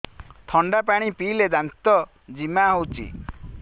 ଥଣ୍ଡା ପାଣି ପିଇଲେ ଦାନ୍ତ ଜିମା ହଉଚି